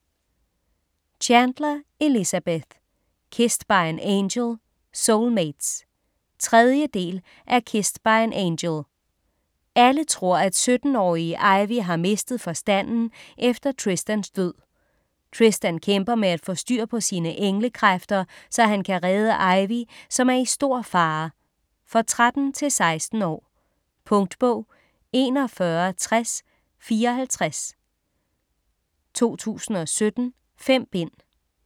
Chandler, Elizabeth: Kissed by an angel - soulmates 3. del af Kissed by an angel. Alle tror, at 17-årige Ivy har mistet forstanden efter Tristans død. Tristan kæmper med at få styr på sine engle-kræfter, så han kan redde Ivy, som er i store fare. For 13-16 år. Punktbog 416054 2017. 5 bind.